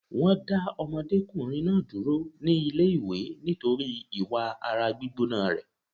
Wọn dá ọmọdékùnrin náà dúró ní ilé ìwé nítorí ìwà ara gbígbóná rẹ̀